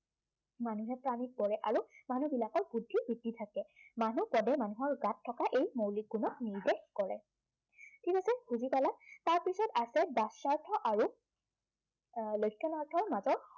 মানুহে প্ৰাণীত পৰে আৰু মানুহবিলাকৰ বুদ্ধি, বৃ্ত্তি থাকে। মানুহ পদে মানহৰ গাত থকা এই মৌলিক গুণক নিৰ্দেশ কৰে। ঠিক আছে, বুজি পালা? তাৰপিছত আছে বাচ্য়াৰ্থ আৰু এৰ লক্ষণাৰ্থৰ মাজত